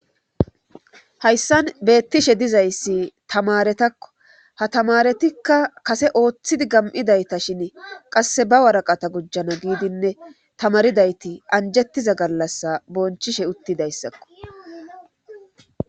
Hayssan beettishe dizayssi tamaretakko ha tamaretikka kase ooththidi gam7idayta shin qasse ba waraqata gujjana giidinne tamaridayti anjettiza gallassa bonchishe uttidayssakko.